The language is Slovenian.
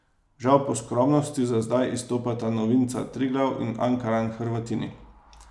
Žal po skromnosti za zdaj izstopata novinca Triglav in Ankaran Hrvatini.